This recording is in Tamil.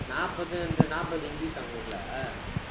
நாற்பது என்ற, நாற்பது english சா உங்க ஊர்ல